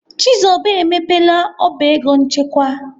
Chizoba emepela ọba ego nchekwa.